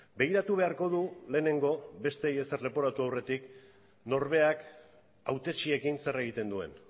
begiratu beharko du lehenengo besteei ezer leporatu aurretik norberak hautetxeekin zer egiten duen